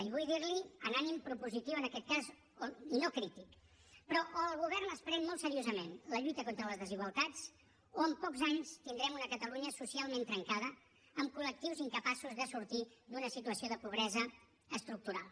i vull dir li ho amb ànim propositiu en aquest cas i no crític però o el govern es pren molt seriosament la lluita contra les desigualtats o en pocs anys tindrem una catalunya socialment trencada amb col·lectius incapaços de sortir d’una situació de pobresa estructural